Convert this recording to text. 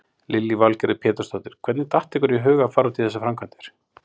Lillý Valgerður Pétursdóttir: Hvernig datt ykkur í huga að fara út í þessar framkvæmdir?